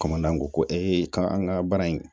ko ka an ka baara in